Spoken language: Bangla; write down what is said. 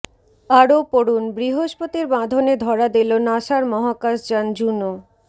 আরও পড়ুন বৃহস্পতির বাঁধনে ধরা দিল নাসার মহাকাশযান জুনো